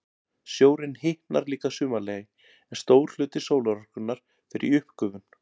Sjórinn hitnar líka að sumarlagi, en stór hluti sólarorkunnar fer í uppgufun.